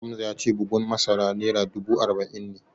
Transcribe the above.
Hamza ya ce bugun masara naira dubu arba'in ne